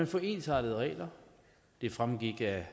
får ensartede regler det fremgik af